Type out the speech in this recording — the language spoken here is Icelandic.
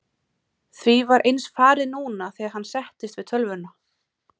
Því var eins farið núna þegar hann settist við tölvuna.